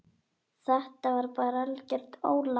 Þetta er bara algert ólán.